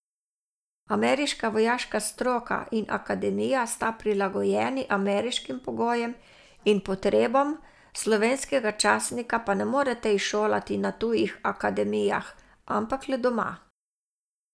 Ameriška vojaška stroka in akademija sta prilagojeni ameriškim pogojem in potrebam, slovenskega častnika pa ne morete izšolati na tujih akademijah, ampak le doma.